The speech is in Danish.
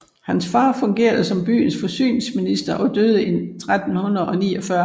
Hans far fungerede som byens forsyningsminister og døde i 1349